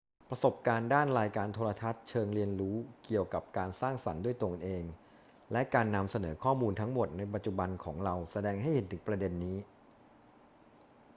ประสบการณ์ด้านรายการโทรทัศน์เชิงเรียนรู้เกี่ยวกับการสร้างสรรค์ด้วยตนเอง และการนำเสนอข้อมูลทั้งหมดในปัจจุบันของเราแสดงให้เห็นถึงประเด็นนี้